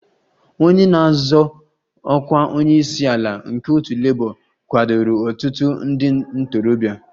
Onye na-azọ ọkwa onye isi ala nke otu Labour kwadoro ọtụtụ ndị ntorobịa